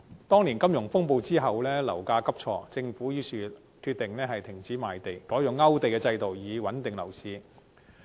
當年金融風暴後，樓價急挫，政府決定停止賣地，改用勾地制度穩定樓市。